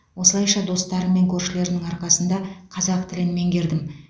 осылайша достарым мен көршілердің арқасында қазақ тілін меңгердім